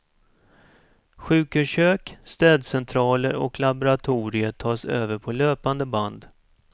Sjukhuskök, städcentraler och laboratorier tas över på löpande band.